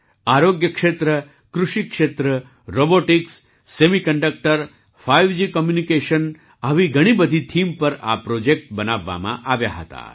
આરોગ્ય ક્ષેત્ર કૃષિ ક્ષેત્ર robotics semiconductor five G communication આવી ઘણી બધી થીમ પર આ પ્રૉજેક્ટ બનાવવામાં આવ્યા હતા